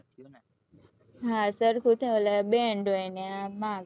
હા સરખું હોય ને ઓલા band હોય ને આ marks